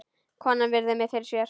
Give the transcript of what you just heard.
Konan virðir mig fyrir sér.